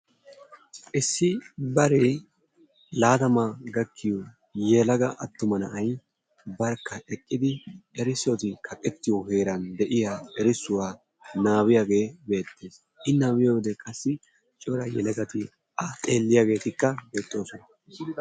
Issi baree laatama gakkiyo yelaga attuma na'ay barkka eqqidi erissoti kaqqetiyo heeran de'iyaa erissotakka nabbabiyaage beettees. I nabbibiyode qassi cora yelagati qassi A xeeliyaageeti beettoosona.